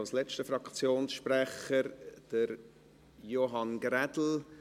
Als letzter Fraktionssprecher spricht Johann Ulrich Grädel.